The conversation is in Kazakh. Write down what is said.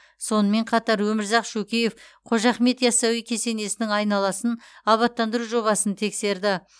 сонымен қатар өмірзақ шөкеев қожа ахмет ясауи кесенесінің айналасын абаттандыру жобасын тексерді